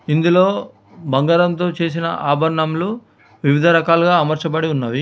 ఇందులో బంగారంతో చేసిన ఆభరణంలు వివిధ రకాలుగా అమర్చబడి ఉన్నది.